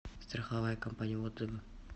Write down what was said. страховая компания отзывы